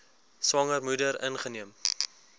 swanger moeder ingeneem